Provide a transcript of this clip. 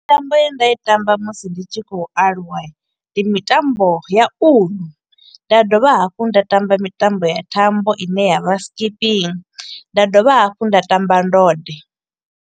Mitambo ye nda i tamba musi ndi tshi kho u aluwa ndi mitambo ya uḽu, nda dovha hafhu nda tamba mitambo ya thambo i ne ya vha skipping, nda dovha hafhu nda tamba ndode.